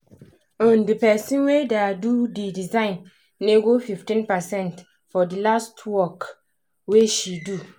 um d person wey da do d design nego 15 percent for the last work wey she do